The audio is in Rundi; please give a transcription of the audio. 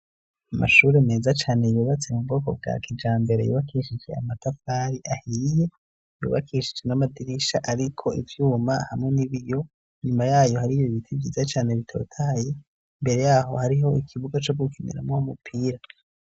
Amashuri meza cane yubatse mu bwoko bwa kijambere. Yubakishije amatafari ahiye. Yubakishije n'amadirisha ariko ivyuma hamwe n'ibiyo. Inyuma yayo hari ibi biti vyiza cyane bitotaye. Imbere yaho hariho ikibuga co gukiniramwo umupira.